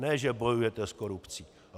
Ne že bojujete s korupcí.